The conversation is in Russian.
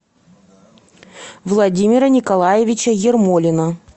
владимира николаевича ермолина